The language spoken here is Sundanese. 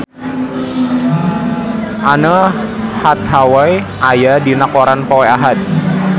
Anne Hathaway aya dina koran poe Ahad